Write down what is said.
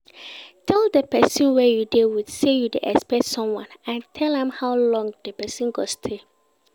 Tell persin wey you de with say you de expect someone and tell am how long di persin go stay